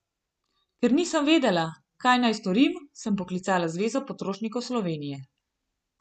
Ker nisem vedela, kam naj storim, sem poklicala Zvezo potrošnikov Slovenije.